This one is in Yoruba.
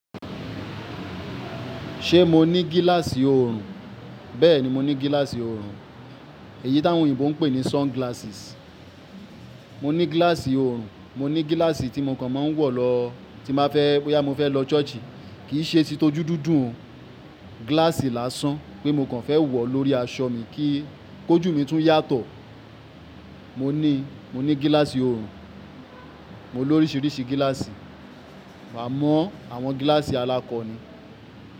Ṣé mo ní gíláàsì òrùn? Bẹ́ẹ̀ni mo ní gíláàsì òrùn. Èyí tí àwọn òyìnbó ń pè ní sunglasses. Mo ní gíláàsì òrùn, mo ní gíláàsì tí mo kàn máa ń wọ̀ lọ tí n ba fẹ́ bóyá mo fẹ́ lọ ṣọ́ọ̀ṣì. Kìí ṣe titojúdúdúùn gíláàsì lásán pé mo kàn fẹ́ wọ̀ lórí aṣọ mi kí kójù mi tún yàtọ̀. Mo ní, mo ní gíláàsì òrùn. Mo ní oríṣiríṣi gíláàsì. Wàá mọ àwọn gíláàsì alákọni.